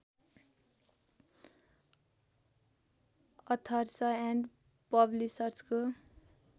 others and पब्लिसर्सको